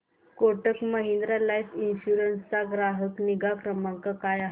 Kotak Mahindra life insurance चा ग्राहक निगा क्रमांक काय आहे